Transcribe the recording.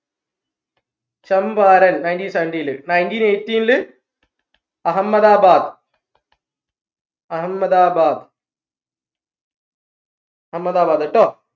Champaran nineteen seventeen ൽ nineteen eighteen ൽ അഹമ്മദബാദ് അഹമ്മദബാദ് അഹമ്മദബാദ് ട്ടോ